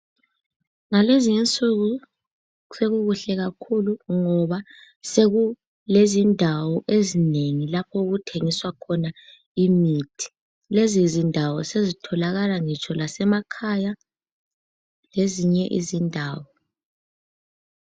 Ngalezinsuku sekukuhle kakhulu ngoba sekulezindawo ezinengi lapho okuthengiswa khona imithi. Lezindawo sezitholakala lasemakhaya lezinye indawo.